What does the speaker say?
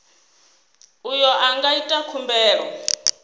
uyo a nga ita khumbelo